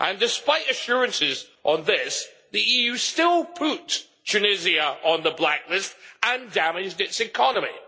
Despite assurances on this, the EU still put Tunisia on the blacklist and damaged its economy.